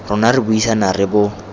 rona re buisana re bo